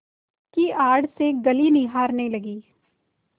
की आड़ से गली निहारने लगी